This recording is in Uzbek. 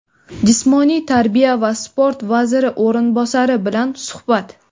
Jismoniy tarbiya va sport vaziri o‘rinbosari bilan suhbat.